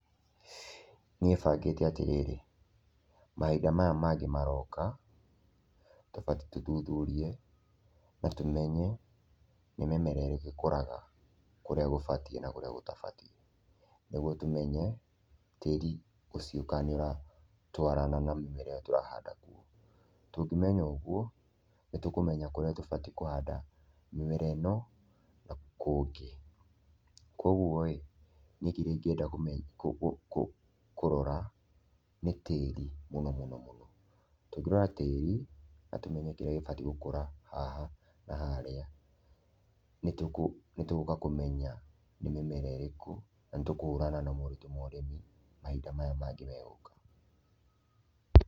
Niĩ bangíte atĩrĩrĩ, mahinda maya mangĩ maroka, tũbatiĩ tũthuthurie na tũmenye nĩ mĩmera ĩrĩkũ ĩkũraga kũrĩa gũbatiĩ na kũrĩa gũtabatiĩ nĩguo tũmenye tĩĩri ũcio kana nĩ ũratwarana na mĩmera ĩyo tũrahanda kuo. Tũngĩmenya ũguo, nĩtũkũmenya kũrĩa tũbatiĩ kũhanda mĩmera ĩno na kũngĩ. Koguo ĩ, niĩ kĩrĩa ingĩenda kũrora nĩ tĩĩri mũno mũno mũno, tũngĩrora tĩĩri na tũmenye kĩrĩa gĩbatiĩ gũkũra haha na harĩa, nĩ tũgũka kũmenya nĩ mĩmera ĩrĩkũ na nĩ tũkũhũrana na moritũ ma ũrĩmi mahinda maya mangĩ megũka.